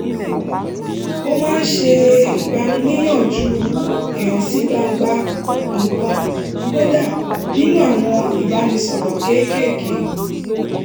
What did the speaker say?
ó máa ń ṣe ìgbaniníyànjú ìhànsígbangba nǹkan kódà nínú àwọn ìbánisọ̀rọ̀ kékèèké